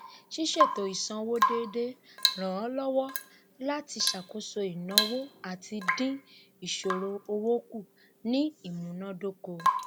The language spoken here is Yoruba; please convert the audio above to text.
ṣíṣètò ísanwó déédé ràn án lọwọ láti ṣàkóso ináwó àti dín ìṣòro owó kù ní imunádókò